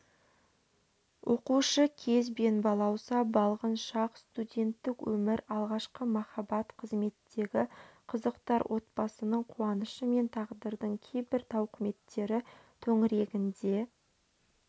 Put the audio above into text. оқушы кез бен балауса-балғын шақ студенттік өмір алғашқы махаббат қызметтегі қызықтар отбасының қуанышы мен тағдырдың кейбір тауқыметтері төңірегінде